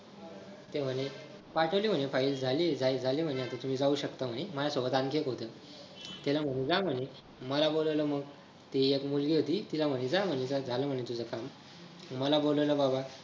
ते म्हणे पाठवली म्हणे file झालीये झालीये म्हणे तुम्ही जाऊ शकता म्हणे माझ्या सोबत आणखी एक होते त्यांना म्हणे जा तुम म्हणे मला बोलवलं मग ते एक मुलगी होती तिला म्हणे जा म्हणे झालं तुझं काम मला बोलावलं बाबा